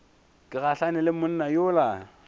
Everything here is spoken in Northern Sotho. ke gahlane le monna yola